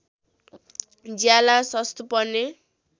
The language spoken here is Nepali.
ज्याला सस्तो पर्ने